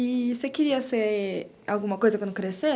E você queria ser alguma coisa quando crescer?